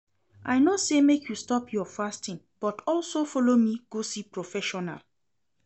I no say make you stop your fasting but also follow me go see professional